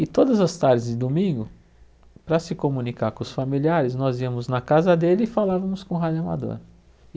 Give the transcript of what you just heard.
E todas as tardes de domingo, para se comunicar com os familiares, nós íamos na casa dele e falávamos com o rádio amador.